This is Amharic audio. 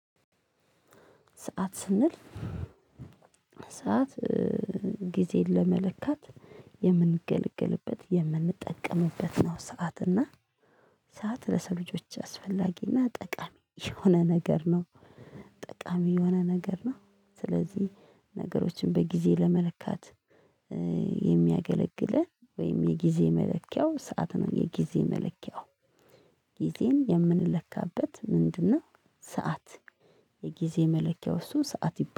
ሰዓት ስንል ሰዓት ጊዜን ለመለካት የምንገለግልበት የምንጠቀምበት ነው ሰዓት። እና ሰዓት ለሰው ልጆች አስፈላጊና ጠቃሚ የሆነ ነገር ነው። ጠቃሚ የሆነ ነገር ነው። ስለዚህ ነገሮችን በጊዜ ለመለካት የሚያገለግልህ ወይም የጊዜ መለኪያው ሰዓት ነው። የጊዜ መለኪያው። ጊዜን የምንለካበት ምንድነው? ሰዓት የጊዜ መለኪያው እሱ ሰዓት ይባላል።